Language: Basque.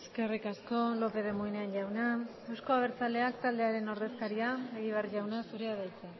eskerrik asko lópez de munain jauna euzko abertzaleak taldearen ordezkaria egibar jauna zurea da hitza